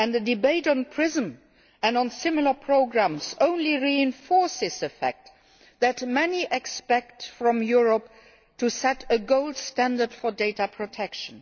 The debate on PRISM and similar programmes only reinforces the fact that many expect Europe to set a gold standard for data protection.